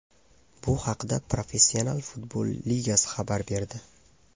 Bu haqda Professional futbol ligasi xabar berdi .